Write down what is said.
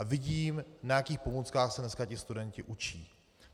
A vidím, na jakých pomůckách se dneska ti studenti učí.